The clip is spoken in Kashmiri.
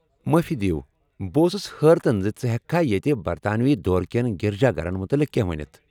مٲفی دِیو ،بہٕ اوسُس حٲرتن زِ ژٕ ہٮ۪کكھا ییتہِ برطانوی دور کیٚن گِرجا گھرن مُتعلق کیٚنٛہہ ؤنِتھ ؟